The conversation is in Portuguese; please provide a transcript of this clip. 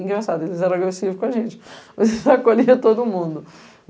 Engraçado, eles eram agressivos com a gente, mas eles acolhiam todo mundo |.